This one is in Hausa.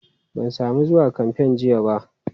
Ban sami zuwa kamfen jiya ba.